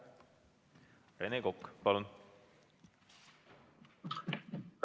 Rene Kokk, palun!